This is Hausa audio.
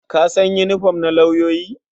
Ka san yinifom na lauyoyi?